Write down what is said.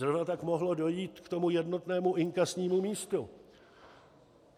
Zrovna tak mohlo dojít k tomu jednotnému inkasnímu místu.